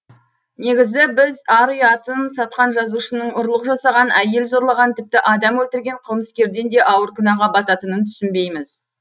неге біз ар ұятын сатқан жазушының ұрлық жасаған әйел зорлаған тіпті адам өлтірген қылмыскерден де ауыр күнәға бататынын түсінбейміз